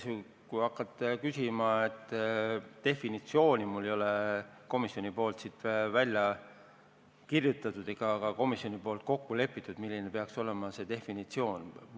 Mul tõesti ei ole siin komisjonipoolset definitsiooni välja kirjutatud ja komisjonis ei ole ka kokku lepitud, milline see definitsioon olema peaks.